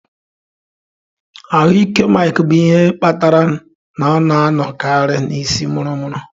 Ahụ ike Mike bụ ihe kpatara na ọ na-anọkarị na isii muru muru.